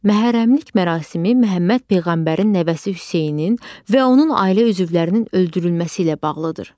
Məhərrəmlik mərasimi Məhəmməd peyğəmbərin nəvəsi Hüseynin və onun ailə üzvlərinin öldürülməsi ilə bağlıdır.